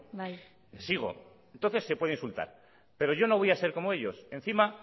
bai sigo entonces se puede insultar pero yo no voy a ser como ellos encima